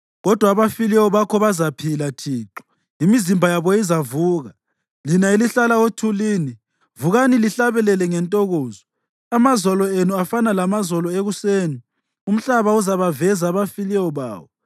Kodwa abafileyo bakho bazaphila Thixo, imizimba yabo izavuka. Lina elihlala othulini, vukani lihlabelele ngentokozo. Amazolo enu afana lamazolo ekuseni; umhlaba uzabaveza abafileyo bawo.